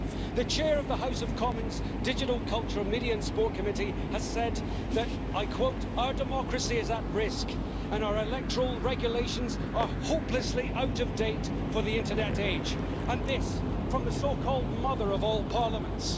The Chair of the House of Commons Digital Culture, Media and Sport Committee has said that I quote our democracy is at risk and our electoral regulations are hopelessly out of date for the internet age', and this from the so called Mother of all Parliaments.